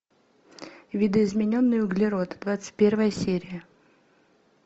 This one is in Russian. видоизмененный углерод двадцать первая серия